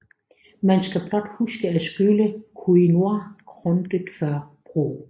Man skal blot huske at skylle quinoa grundigt før brug